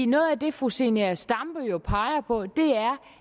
noget af det fru zenia stampe jo peger på er